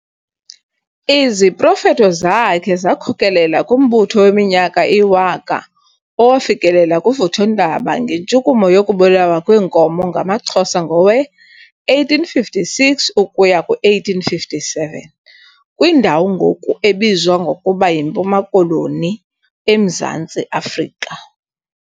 Iziprofeto zakhe zakhokelela kumbutho weminyaka eyiwaka owafikelela kuvuthondaba ngentshukumo yokubulawa kweenkomo ngamaXhosa ngowe-1856-1857, kwindawo ngoku ebizwa ngokuba yiMpuma Koloni, eMzantsi Afrika.